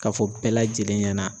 Ka fɔ bɛɛ lajɛlen ɲɛna